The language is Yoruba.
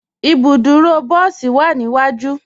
Ibùdúrò bọ̀sí wa ni iwaju.